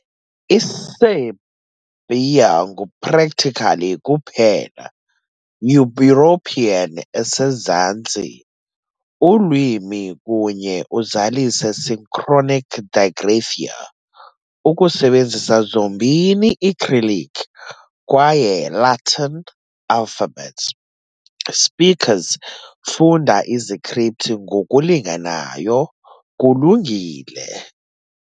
Isiserbia ngu practically kuphela European esezantsi ulwimi kunye uzalise synchronic digraphia, ukusebenzisa zombini i-cyrillic kwaye Latin alphabets, speakers funda u-izikripthi ngokulinganayo kulungile.